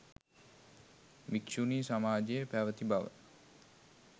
භික්‍ෂුණී සමාජය පැවැති බව